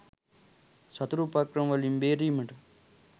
සතුරු උපක්‍රමවලින් බේරීමට